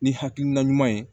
Ni hakilina ɲuman ye